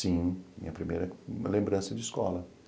Sim, minha primeira lembrança de escola.